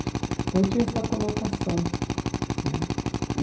Então tinha essa conotação né e.